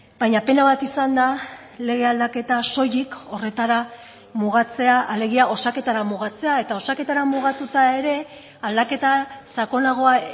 baina pena bat izan da lege aldaketa soilik horretara mugatzea alegia osaketara mugatzea eta osaketara mugatuta ere aldaketa sakonagoa